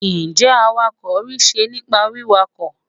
n jé awakọ ri se nipa wiwakọ